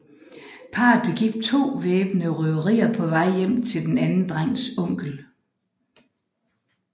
Parret begik to væbnede røverier på vej hjem til den anden drengs onkel